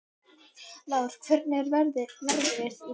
Lár, hvernig er veðrið í dag?